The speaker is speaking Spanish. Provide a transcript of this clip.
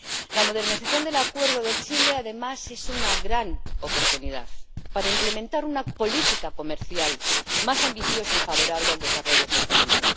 La modernización del Acuerdo de Chile, además, es una gran oportunidad para implementar una política comercial más ambiciosa y favorable al desarrollo sostenible.